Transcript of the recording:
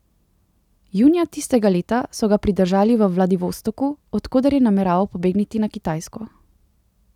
Junija tistega leta so ga pridržali v Vladivostoku, od koder je nameraval pobegniti na Kitajsko.